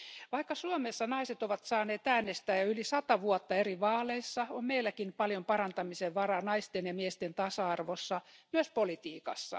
Vaikka Suomessa naiset ovat saaneet äänestää yli sata vuotta eri vaaleissa, on meilläkin paljon parantamisen varaa naisten ja miesten tasa arvossa, myös politiikassa.